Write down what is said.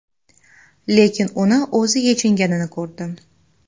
Lekin uni o‘zi yechinganini ko‘rdim.